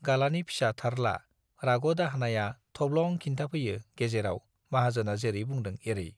गालानि फिसा थारला - राग' दाहोनाया थब्लं खिन्थाफैयो गेजेराव माहाजोना जेरै बुंदों एरै।